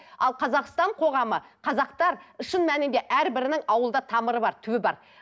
ал қазақстан қоғамы қазақтар шын мәнінде әрбірінің ауылда тамыры бар түбі бар